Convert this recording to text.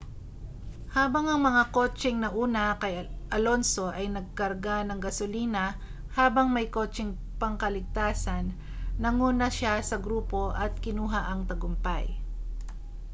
habang ang mga kotseng nauna kay alonso ay nagkarga ng gasolina habang may kotseng pangkaligtasan nanguna siya sa grupo at kinuha ang tagumpay